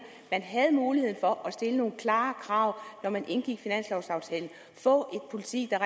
havde mulighed for at stille nogle klare krav når man indgik finanslovaftale få en politik der